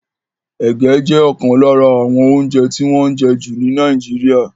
Ege jẹ́ ọ̀kan lára àwọn oúnjẹ tí wọ́n ń jẹ jù ní Nàìjíríà.